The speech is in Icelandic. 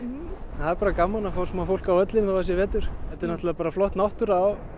það er bara gaman að fá smá fólk á völlinn þó það sé vetur þetta er náttúrulega bara flott náttúra og